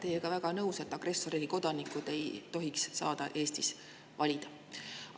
Olen teiega väga nõus, et agressorriigi kodanikud ei tohiks saada Eestis valida.